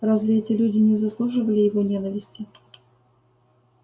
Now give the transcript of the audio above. разве эти люди не заслуживали его ненависти